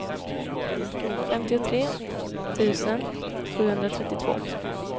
femtiotre tusen sjuhundratrettiotvå